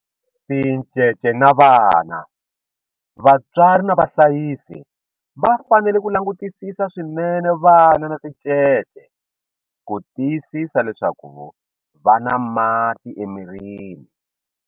Tincece na vana, vatswari na vahlayisi va fanele ku langutisisa swinene vana na tincece ku tiyisisa leswaku va na mati emirini.